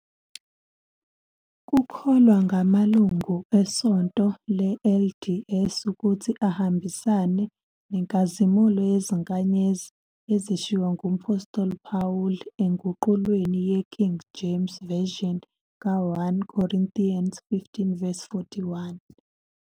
Kukholwa ngamalungu eSonto le-LDS ukuthi ahambisane "nenkazimulo yezinkanyezi" ezishiwo ngumphostoli uPawulu enguqulweni ye-King James Version ka- 1 Corinthians 15-41.